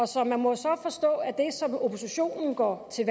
så må forstå er det oppositionen går til